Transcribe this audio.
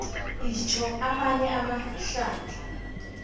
itjho amanye amahlandla